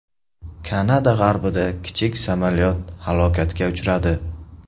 Kanada g‘arbida kichik samolyot halokatga uchradi.